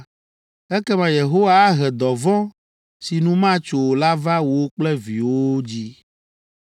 ekema Yehowa ahe dɔvɔ̃ si nu matso o la va wò kple viwòwo dzi.